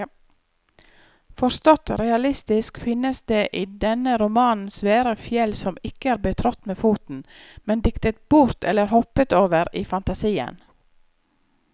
Forstått realistisk finnes det i denne romanen svære fjell som ikke er betrådt med foten, men diktet bort eller hoppet over i fantasien.